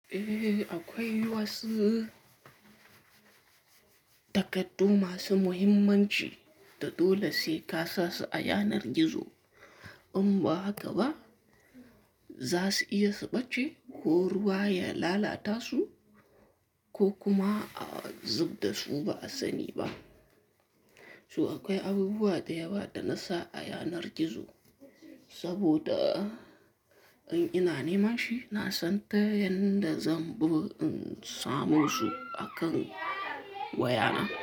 Eh, aƙwai wasu takardu masu muhimmanci da dole sai ka sa su a yanar gizo. In ba haka zasu iya su bace ko ruwa ya lalata su ko kuma a zubdasu ba'a sani ba. Su akwai abubuwa da yawa da na sa a yanar gizo saboda in ina nemanshi nasan ta yanda zanbi in same su akan waya na.